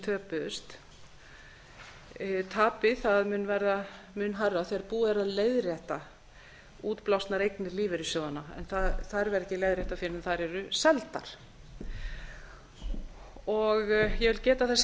töpuðust tapið mun verða mun hærra þegar búið er að leiðrétta útblásnar eignir lífeyrissjóðanna en þær verða ekki leiðréttar fyrr en þær eru seldar ég vil geta þess